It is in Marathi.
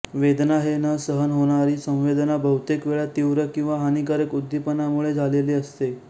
वेदना हे न सहन होणारी संवेदना बहुतेक वेळा तीव्र किंवा हानिकारक उद्दीपनामुळे झालेली असते